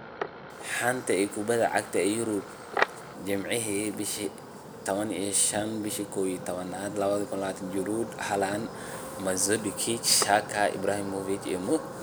Xanta Kubadda Cagta Yurub Jimce 15.11.2019: Giroud, Haland, Mandzukic, Xhaka, Ibrahimovic, Modric